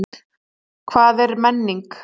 Hvað er menning?